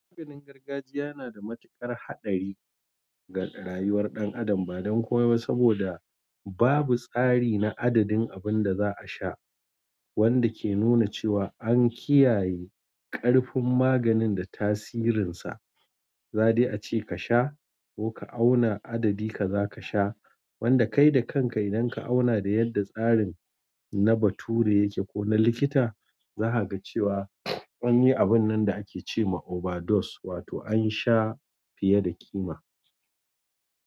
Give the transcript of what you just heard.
Maganin gargajiya yana da matuƙar haɗari ga rayuwar ɗan adam ba don komai ba saboda babu tsari na adadin abunda za asha wanda ke nuna cewa an kiyaye ƙarfin maganin da tasirinsa. Za dai a ce ka sha ko ka auna adadi ka za ka sha wanda kai da kanka idan ka auna da yadda tsarin na bature yake ko na likita za ha ga cewa an yi abun nan da ake ce ma overdose wato an sha fiye da kima.